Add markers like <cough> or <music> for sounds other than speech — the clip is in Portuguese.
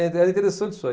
<unintelligible> Era interessante isso aí.